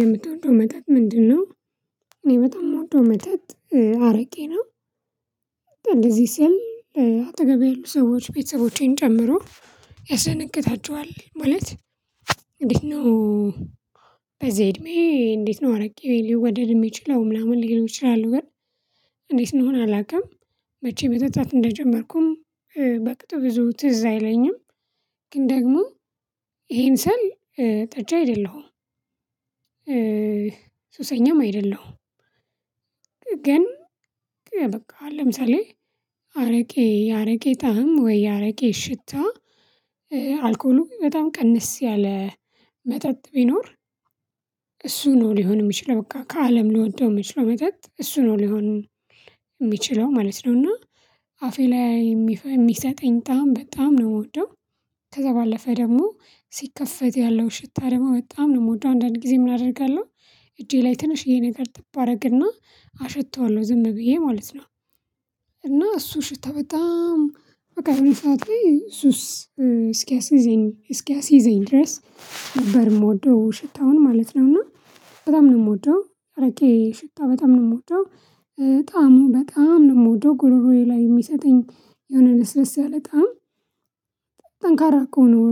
የምትወደው መጠጥ ምንድነው? እኔ በጣም የምወደው መጠጥ አረቄ ነው። እንደዚህ ሲል አጠገቤ ያሉ ሰዎች ቤተሰቦቼን ጨምሮ ያስደነግጣቸዋል ማለት እንዴት ነው? በዚህ እድሜ እንዴት ነው አረቄ ሊወደድ የሚቻለው ምናምን ሊሆን ይችላል ግን እንዴት ይሁን አላውቅም። መቼ መጠጣት እንደጀመርኩም በቅጡ ብዙ ትዝ አይለኝም። ግን ደግሞ ይሄን ስል ጠጪ አይደለሁም ሱሰኛም አይደለሁም። ግን በቃ ለምሳሌ አረቄ የአረቄ ጣዕም ወይ የአረቄ ሽታ አልኮሉ በጣም ቀነስ ያለ መጠጥ ቢኖር። እሱ ነው ሊሆን የሚችለው በቃ ከአለም ሊወደው የሚችለው መጠጥ እሱ ነው ሊሆን የሚችለው ማለት ነው። እና አፌ ላይ የሚ የሚሰጠኝ ጣዕም በጣም ነው የምወደው። ከዛ ባለፈ ደግሞ ሲከፈት ያለው ሽታ ደግሞ በጣም ነው የምወደው አንዳንድ ጊዜ ምን አደርጋለሁ እጄ ላይ ትንሽዬ ነገር ጥብ አደርግና አሸተዋለሁ ዝም ብዬ ማለት ነው። እና እሱ ሽታ በጣም በቃ የሆነ ሰዓት ላይ ሱስ እስኪያስይዘኝ እስኪያስይዘኝ ድረስ ነበር የምወደው ሽታውን ማለት ነው። እና በጣም ነው የምወደው የአረቄ ሽታ በጣም ነው የምወደው። ጣዕሙን በጣም ነው የምወደው ጉሮሮዬ ላይ የሚሰጠኝ የሆነ ልስለስ ያለ ጣዕም። ጠንካራ እኮ ነው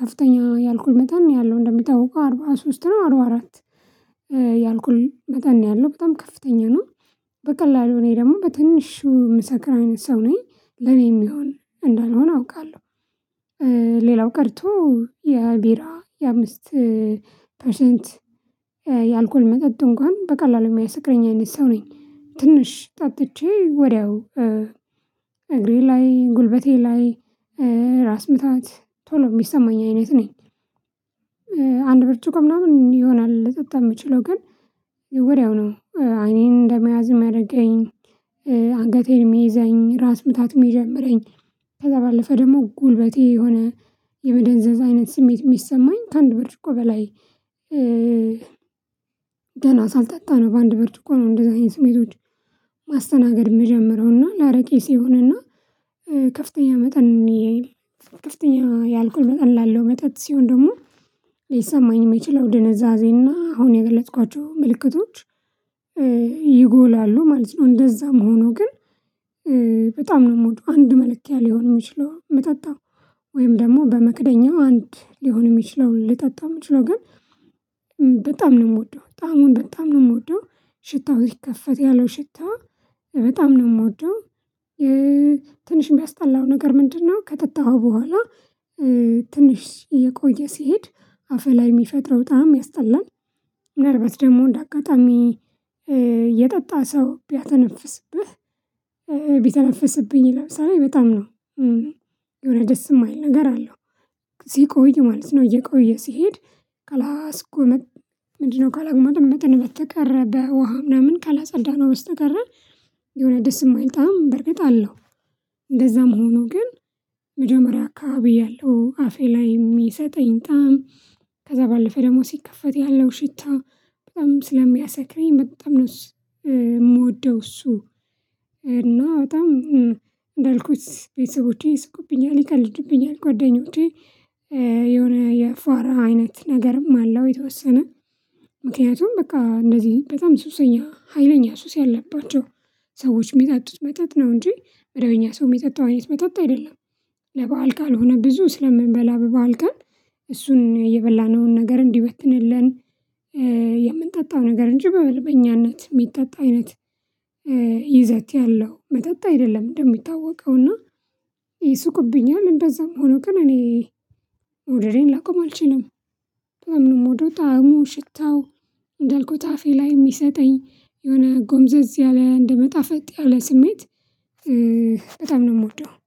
ከፍተኛ የአልኮል መጠን ነው ያለው እንደሚታወቀው አርባ ሶስት ነው አርባ አራት የአልኮል መጠን ነው ያለው በጣም ከፍተኛ ነው። በቀላሉ እኔ ደግሞ በትንሹ የምሰክር አይነት ሰው ነኝ ለኔ ምሆን እንዳልሆነ አውቃለሁ። ሌላው ቀርቶ የቢራ የአምስት ፐርሰንት የአልኮል መጠን እንኳን በቀላሉ የሚያሰክረኝ አይነት ሰው ነኝ ትንሽ ጠጥቼ ወዲያው እግሬ ላይ ጉልበቴ ላይ ራስ ምታት ቶሎ የሚሰማኝ አይነት ነኝ። አንድ ብርጭቆ ምናምን ይሆናል ልጠጣ የምችለው ግን ወዲያው ነው አይኔን እንደመያዝ የሚያደርገኝ አንገቴን የሚይዘኝ ራስ ምታት የሚጀምረኝ ከዛ ባለፈ ደግሞ ጉልበቴ የሆነ የመደንዘዝ አይነት ስሜት የሚሰማኝ ከአንድ ብርጭቆ በላይ። ገና ሳልጠጣ ነው በአንድ ብርጭቆ ነው እንደዚህ አይነት ስሜቶችን ማስተናገድ የምጀምረው እና ላረቄ ሲሆን እና ከፍተኛ መጠን ከፍተኛ የአልኮል መጠን ላለው መጠጥ ሲሆን ደግሞ ሊሰማኝ የሚችለው ድንዛዜና አሁን የገለጽኳቸው ምልክቶች ይጎላሉ ማለት ነው። እንደዛ መሆኑ ግን በጣም ነው የምወደው አንድ መለኪያ ሊሆን የሚችለውንነው ሚጠጣው ወይም ደግሞ በመክደኛው አንድ ሊሆን የሚችለውን ነው ሊጠጣ የምችለው ግን በጣም ነው የምወደው ጣዕሙን በጣም ነው የምወደው ሽታው ስከፈት ያለው ሽታ በጣም ነው የምወደው። የ ትንሽ የሚያስጠላው ነገር ምንድነው? ከጠጣሃው በኋላ ትንሽ እየቆየ ሲሄድ አፍህ ላይ የሚፈጥረው ጣዕም ያስጠላል። ምንአልባት ደግሞ እንደ አጋጣሚ የጠጣ ሰው ቢተነፍስብህ ቢተነፍስብኝ ለምሳሌ በጣም ነው የሆነ ደስ የማይል ነገር አለው ስቆይ ማለት ነው እየቆየ ሲሄድ ካላስጎመ ምንድነው ካልተግመጠመጥን በስተቀረ በውሃ ምናምን ካለጸዳናው በስተቀር የሆነ ደስ የማይል ጣዕም በርግጥ አለው። እንደዛም ሆኖ ግን መጀመሪያ አካባቢ ያለው አፌ ላይ የሚሰጠኝ ጣዕም ከዛ ባለፈ ደግሞ ሲከፈት ያለው ሽታ በጣም ስለሚያሰክረኝ በጣም ነው እሱ የምወደው እሱን። እና በጣም እንዳልኩት ቤተሰቦቼ ይስቁብኛል ይቀልዱብኛል ጓደኞቼ የሆነ የፋራ አይነት ነገርም አለው የተወሰነ ምክንያቱም በቃ እንደዚህ በጣም ሱሰኛ ሀይለኛ ሱስ ያለባቸው ሰዎች የሚጠጡት መጠጥ ነው እንጂ በደበኛ ሰው የሚጠጣው አይነት መጠጥ አይደለም። ለበአል ካልሆነ ብዙ ስለምንበላ በበዓል ቀን እሱን የበላነውን ነገር እንዲበትንልን የምንጠ ነገር እንጂ በመደበኛነት የሚጠጣ አይነት የ ይዘት ያለው መጠጥ አይደለም። እንደሚታወቀውና ይስቁብኛል እንደዛም ሆኖ ግን እኔ መውደዴን ላቆም አልችልም። በጣም ነው የምወደ ጣዕሙ ሽታው እንደልኩት አፌ ላይ የሚሰጠኝ የሆነ ጎምዘዝ ያለ እንደመጣፈጥ ያለ ስሜት። በጣም ነው የምወደው